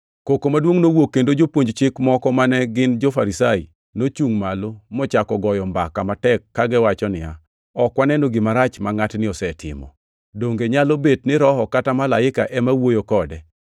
Koko maduongʼ nowuok kendo jopuonj Chik moko mane gin jo-Farisai, nochungʼ malo mochako goyo mbaka matek kagiwacho niya, “Ok waneno gima rach ma ngʼatni osetimo. Donge nyalo bet ni roho kata malaika ema wuoyo kode?”